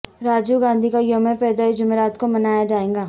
راجیو گاندھی کا یوم پیدائش جمعرات کو منایا جائےگا